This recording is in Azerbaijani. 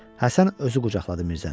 Həsən özü qucaqladı Mirzəni.